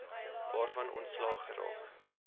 waarvan ontslae geraak